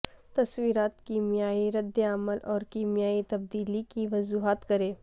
تصورات کیمیائی ردعمل اور کیمیائی تبدیلی کی وضاحت کریں